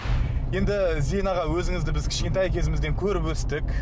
енді зейін аға өзіңізді біз кішкентай кезімізден көріп өстік